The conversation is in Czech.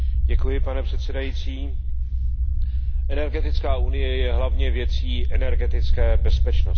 Pane předsedající, energetická unie je hlavně věcí energetické bezpečnosti.